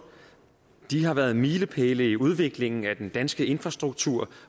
har været milepæle i udviklingen af den danske infrastruktur